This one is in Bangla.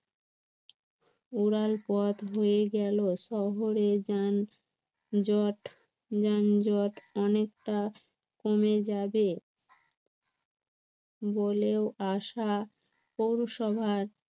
উড়ালপথ হয়ে গেল শহরে যান জট যানজট অনেকটা কমে যাবে বলেও আশা পৌরসভার